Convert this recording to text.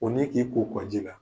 n'i k'i ko kɔ ji la